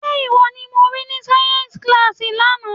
Ṣé ìwọ ni mo rí ní sáyẹ́ńsì kíláàsì lánàá?